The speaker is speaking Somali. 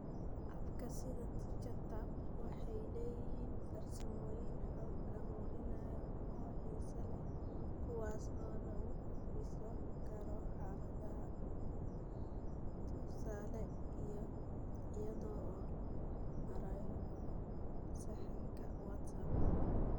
Abka sida TeacherTapp waxay leeyihiin farsamooyin xog ururin oo xiiso leh kuwaas oo lagu dhisi karo xaaladaha LMIC (tusaale, iyada oo loo marayo bot sahanka WhatsApp).